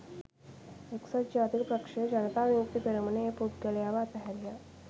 එක්සත් ජාතික පක්ෂය ජනතා විමුක්ති පෙරමුණ ඒ පුද්ගලයව අතහැරියා